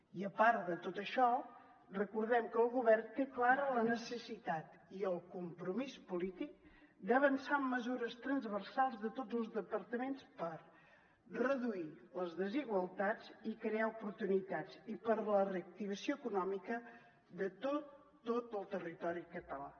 i a part de tot això recordem que el govern té clara la necessitat i el compromís polític d’avançar en mesures transversals de tots els departaments per reduir les desigualtats i crear oportunitats i per a la reactivació econòmica de tot tot el territori català